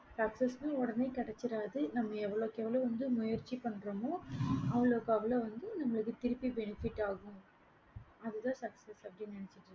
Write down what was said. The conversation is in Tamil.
sucess உடனே கிடைச்சிராது நம்ப எவ்வளோ எவ்ளோக்கு வந்து முயற்சி பன்றமோ அவ்வளோக்கு அவ்வளோ நமக்கு திருப்பி benefit ஆகும் அது தான் sucess அப்படின்னு நேனைச்சிகொங்க